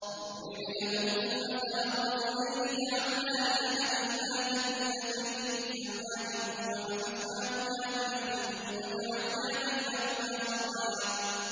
۞ وَاضْرِبْ لَهُم مَّثَلًا رَّجُلَيْنِ جَعَلْنَا لِأَحَدِهِمَا جَنَّتَيْنِ مِنْ أَعْنَابٍ وَحَفَفْنَاهُمَا بِنَخْلٍ وَجَعَلْنَا بَيْنَهُمَا زَرْعًا